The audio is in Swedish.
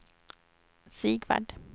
Sigvard